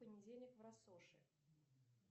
понедельник в россоши